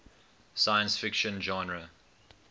science fiction genre